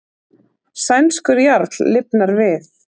Sænskur jarl lifnar við